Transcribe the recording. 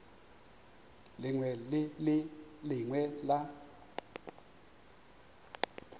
lengwe le le lengwe la